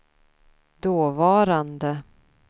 dåvarande